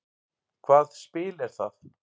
Hvað spil er það?